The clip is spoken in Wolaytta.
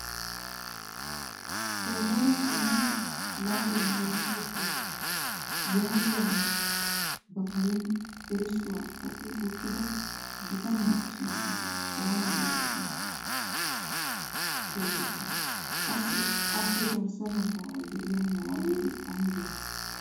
"Damoota kaamiyaa laaguwaa lohisso keettaa" yaagiyaagaa ba karen erissuwaa kaqqi uttida bitaniyaa sunttay oona getetti xeegettii? Qassi appe garssa baggaara de'iyaa malaatati aybatee?